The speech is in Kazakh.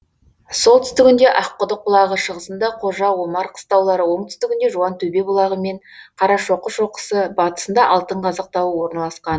солтүстігінде аққұдық бұлағы шығысында қожа омар қыстаулары оңтүстігінде жуантөбе бұлағы мен қарашоқы шоқысы батысында алтынқазық тауы орналасқан